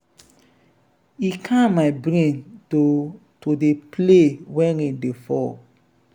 e calm my brain to to dey play wen rain dey fall.